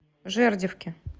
жердевке